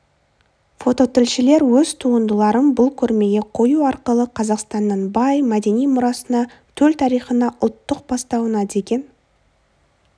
фототілшілер өз туындыларын бұл көрмеге қою арқылы қазақстанның бай мәдени мұрасына төл тарихына ұлттық бастауына деген